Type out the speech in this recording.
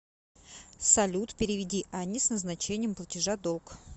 салют переведи анне с назначением платежа долг